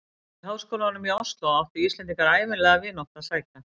Og í háskólann í Osló áttu Íslendingar ævinlega vináttu að sækja.